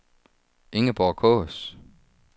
Ingeborg Kaas